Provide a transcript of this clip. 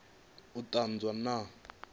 u ṱun ḓwa na u